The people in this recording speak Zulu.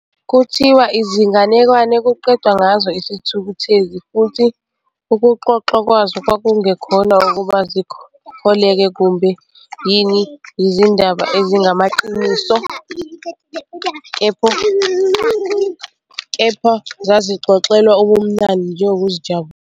Kuthiwa izinganekwane kuqedwa ngazo isithukuthezi futhi ukuxoxwa kwazo kwakungekhona ukuba zikholeke kumbe kine yizindaba ezingamaqiniso, kepha zazixoxelwa ubumnandi nje nokuzijabulisa